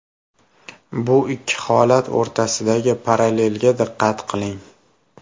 Bu ikki holat o‘rtasidagi parallelga diqqat qiling.